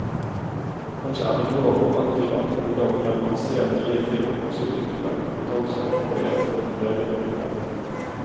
Kanskje er det lov å antyde at ungdom gjennom å se mye film også utvikler en kompetanse på å lese levende bilder.